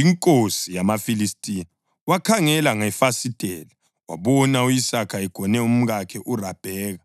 inkosi yamaFilistiya wakhangela ngefasitela wabona u-Isaka egone umkakhe uRabheka.